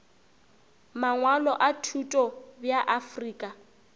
mangwalo a thuto bja afrika